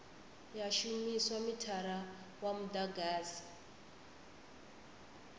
ya shumisa mithara wa mudagasi